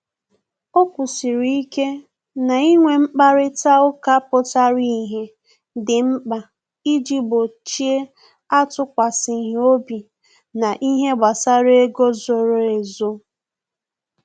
O kwụsịrị ike na inwe mkparịta ụka pụtara ìhè dị mkpa iji gbochie atukwasighi obi na ihe gbasara ego zoro ezo